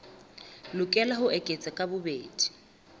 lokela ho eketswa ka bobedi